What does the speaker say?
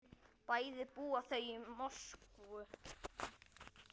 Bæði búa þau í Moskvu.